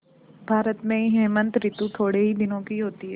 भारत में हेमंत ॠतु थोड़े ही दिनों की होती है